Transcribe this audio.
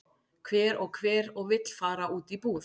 Hver og hver og vill fara út í búð?